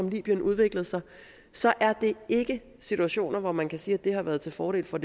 i libyen udviklede sig så er det ikke situationer hvor man kan sige at det har været til fordel for